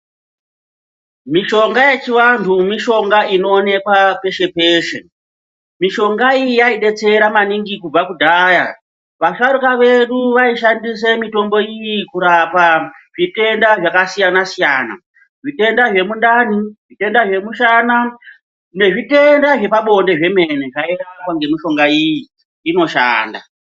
Mishonga yechivantu mishonga inoonekwa peshe peshe mishonga iyi yaidetsera maningi kubva kudhaya vasharuka vedu vaishandisa mitombo iyi kurapa zvitenda zvakasiyana siyana zvitenda zvemundani zvitenda zvemushana nezvitenda zvepabonde zvemene mene zvairapwa ngemishonga iyi inoshanda.